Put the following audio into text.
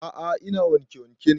A'a ina wanke wanke ne